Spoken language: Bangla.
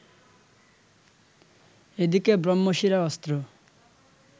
এদিকে ব্রহ্মশিরা অস্ত্র